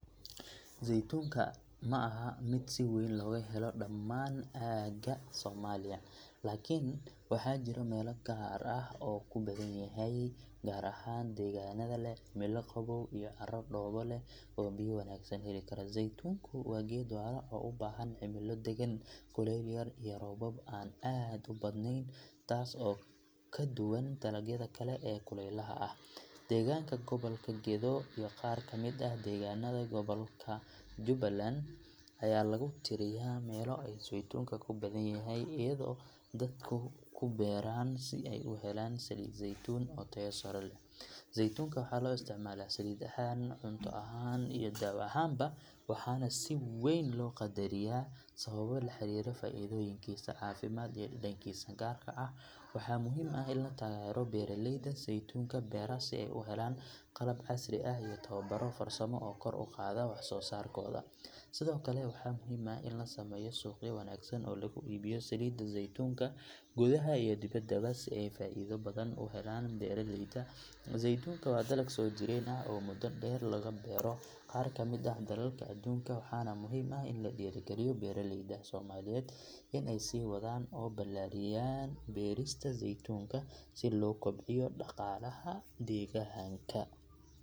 Zeytuunka ma aha mid si weyn looga helo dhammaan aagagga Soomaaliya, laakiin waxaa jira meelo gaar ah oo uu ku badan yahay gaar ahaan deegaanada leh cimilo qaboow iyo carrooyin dhoobo leh oo biyo wanaagsan heli kara. Zeytuunku waa geed waara oo u baahan cimilo deggan, kuleyl yar iyo roobab aan aad u badanayn taas oo ka duwan dalagyada kale ee kulaylaha ah. Degaanka Gobolka Gedo iyo qaar ka mid ah deegaanada gobolka Jubaland ayaa lagu tiriyaa meelo ay zeytuunka ku badan yahay, iyadoo dadku ku beeraan si ay u helaan saliid zeytuun oo tayo sare leh. Zeytuunka waxaa loo isticmaalaa saliid ahaan, cunto ahaan iyo daawo ahaanba waxaana si weyn loo qadariyaa sababo la xiriira faa’iidooyinkiisa caafimaad iyo dhadhankiisa gaarka ah. Waxaa muhiim ah in la taageero beeraleyda zeytuunka beera si ay u helaan qalab casri ah iyo tababarro farsamo oo kor u qaada wax soo saarkooda. Sidoo kale waxaa muhiim ah in la sameeyo suuqyo wanaagsan oo lagu iibiyo saliidda zeytuunka gudaha iyo dibadda si ay faa’iido badan u helaan beeraleyda. Zeytuunka waa dalag soo jireen ah oo muddo dheer laga beero qaar ka mid ah dalalka adduunka waxaana muhiim ah in la dhiirrigeliyo beeraleyda Soomaaliyeed in ay sii wadaan oo ballaariyaan beerista zeytuunka si loo kobciyo dhaqaalaha deegaanka.